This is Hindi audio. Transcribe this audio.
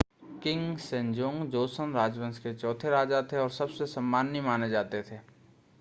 किंग सेजोंग जोसन राजवंश के चौथे राजा थे और सबसे सम्माननीय माने जाते हैं